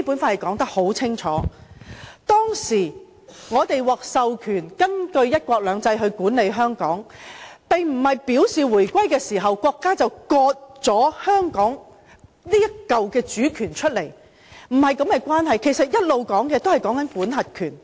我們當時獲授權根據"一國兩制"管理香港，這並非表示，在回歸後，國家便會"割出"香港主權，並不是這種的關係，我們所談的一直也是管轄權。